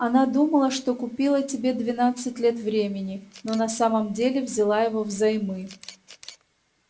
она думала что купила тебе двенадцать лет времени но на самом деле взяла его взаймы